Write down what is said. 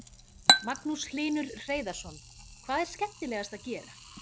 Magnús Hlynur Hreiðarsson: Hvað er skemmtilegast að gera?